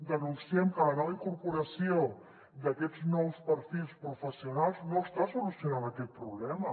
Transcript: denunciem que la nova incorporació d’aquests nous perfils professionals no està solucionant aquest problema